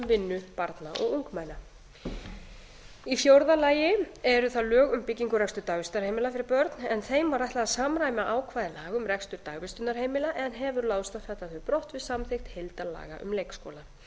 vinnu barna og ungmenna í fjórða lagi eru það lög um byggingu og rekstur dagvistarheimila fyrir börn en þeim var þeim ætlað að samræma ákvæði laga um dagvistarheimili en hefur láðst að fella þau brott sviði samþykkt heildarlaga um leikskóla